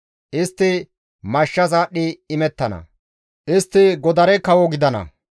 Istti mashshas aadhdhi imettana; istti godare kawo gidana.